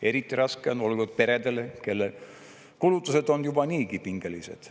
Eriti raske on olnud peredel, kelle kulutused on juba niigi pingelised.